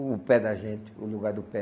O pé da gente, o lugar do pé.